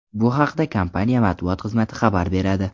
Bu haqda kompaniya matbuot xizmati xabar beradi.